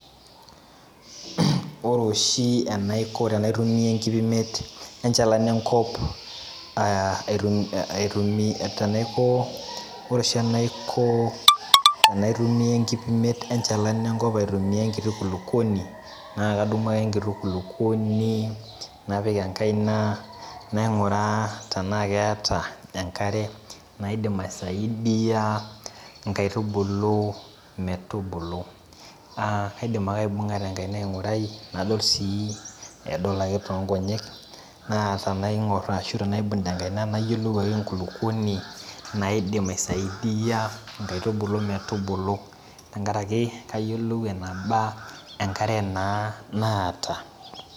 Ore oshi anaiko tanaitumia enkipimet enchalan enkop ee aitumia, ore oshi enaiko enaitumia enkipimet enchalan enkop aitumia enkiti kulukuoni na kadumu ake enkiti kulukuoni napik enkaina nainguraa tanaa keeta enkare naidim aisaidia nkaitubulu metubulu, kaidim ake aingura tenkaina aingurai nadol sii nadol ake tonkonyek na tanaingor arashu tanaibung tenkaina nayiolou ake enkulukuoni naidim aisaidia nkaitubulu metubulu tenkaraki kayieu nayiolou eneba enkare naata.